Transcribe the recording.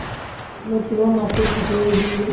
নহয় তোমাৰ মাতটো ফাটি আহিছিল যে